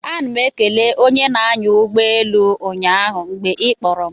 A nara m ekele onye na-anya ụgbọelu ụnyaahụ mgbe ị kpọrọ m